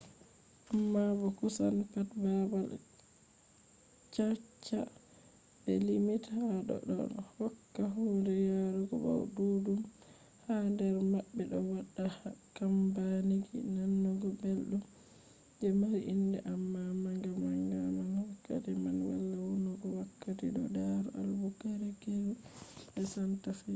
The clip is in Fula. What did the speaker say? amma bo kusan pat baabal caca je be limti ha do ɗon hokka hunde yarugo bo ɗuɗɗum ha nder maɓɓe do wadda kambaniji nanugo belɗum je mari inde amma bo manga manga man ha wakati man wala vonnugo wakati do tari albuquerque be santa fe